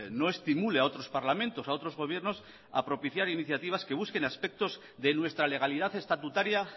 no estimule a otros parlamentos a otros gobiernos a propiciar iniciativas que busquen aspectos de nuestra legalidad estatutaria